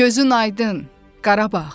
Gözün aydın Qarabağ.